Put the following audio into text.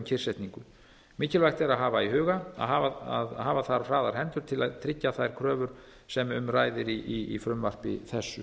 kyrrsetningu mikilvægt er að hafa í huga að hafa þarf hraðar hendur til að tryggja þær kröfur sem um ræðir í frumvarpi þessu